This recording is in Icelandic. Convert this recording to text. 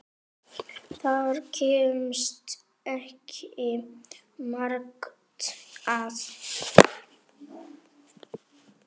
Þar kemst ekki margt að.